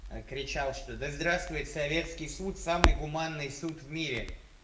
кричал что да здравствует советский суд самый гуманный суд в мире